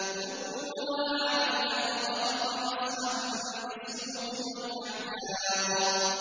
رُدُّوهَا عَلَيَّ ۖ فَطَفِقَ مَسْحًا بِالسُّوقِ وَالْأَعْنَاقِ